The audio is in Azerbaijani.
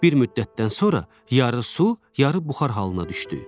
Bir müddətdən sonra yarı su, yarı buxar halına düşdü.